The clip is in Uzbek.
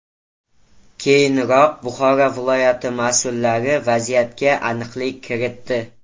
Keyinroq Buxoro viloyati mas’ullari vaziyatga aniqlik kiritdi.